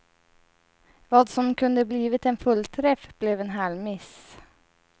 Vad som kunde blivit en fullträff blev en halvmiss.